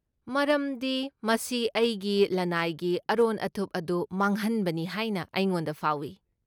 ꯃꯔꯝꯗꯤ ꯃꯁꯤ ꯑꯩꯒꯤ ꯂꯟꯅꯥꯏꯒꯤ ꯑꯔꯣꯟ ꯑꯊꯨꯞ ꯑꯗꯨ ꯃꯥꯡꯍꯟꯕꯅꯤ ꯍꯥꯏꯅ ꯑꯩꯉꯣꯟꯗ ꯐꯥꯎꯏ꯫